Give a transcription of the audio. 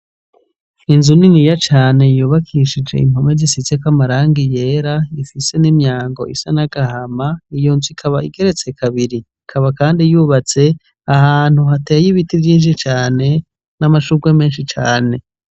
Inzu niniya cane yubakishije impome zisizeko amarangi yera ,ifise nimyango isa nagahama, iyo nzu ikaba igeretse kabiri. Ikaba kandi yubatse ahantu hateye ibiti vyinshi cane namashugwe menshi cane.